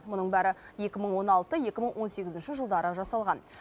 мұның бәрі екі мың он алты екі мың он сегізінші жылдары жасалған